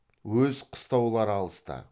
өз қыстаулары алыста